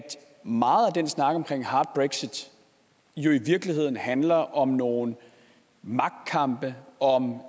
meget af den snak om hard brexit i virkeligheden handler om nogle magtkampe og